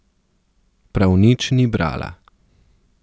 Prav nič ni brala.